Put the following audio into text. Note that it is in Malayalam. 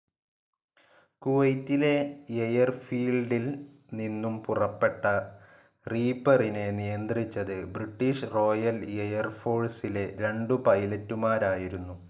കുവൈറ്റിലെ എയർഫീൽഡിൽ നിന്നും പുറപ്പെട്ട റീപ്പറിനെ നിയന്ത്രിച്ചത് ബ്രിട്ടീഷ് റോയൽ എയർഫോഴ്സിലെ രണ്ടു പൈലറ്റുമാരായിരുന്നു.